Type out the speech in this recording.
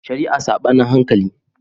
Shari'a Saɓanin hankali